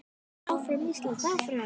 Áfram Ísland, áfram.